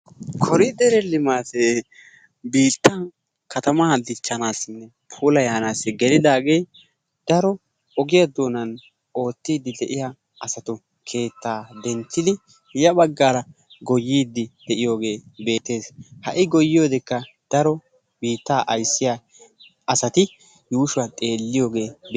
kooridee limaate biittan katamaa dichchanassinne puulayanis gelidaage daro ogiyaa doonan de'iyaa asatu keetta denttidi ya baggar goyyide de'iyooge beettees. ha goyiyoodekka daro biitta ayssiya asati yuushshuwa xeelliyooge bee..